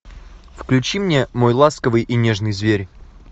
включи мне мой ласковый и нежный зверь